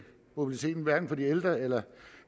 mobiliteten hverken for de ældre eller